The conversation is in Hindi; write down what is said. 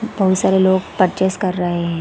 बहुत सारे लोग पर्चेस कर रहे हैं ।